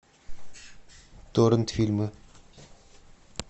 торрент фильмы